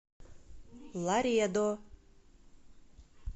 ларедо